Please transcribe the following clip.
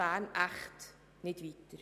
Bern echt nicht weiter.